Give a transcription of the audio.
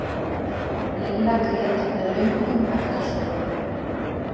Lilla grét með löngum ekkasogum.